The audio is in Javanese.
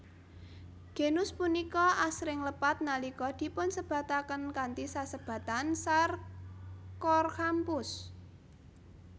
Genus punika asring lepat nalika dipunsebataken kanthi sesebatan Sarcorhamphus